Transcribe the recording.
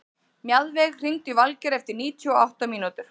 Mjaðveig, hringdu í Valgeir eftir níutíu og átta mínútur.